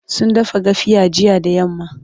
sun gasa gafiya jiya da yamma